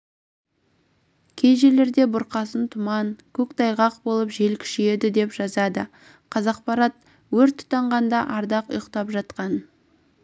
кей жерлерде бұрқасын тұман көктайғақ болып жел күшейеді деп жазады қазақпарат өрт тұтанғанда ардақ ұйықтап жатқан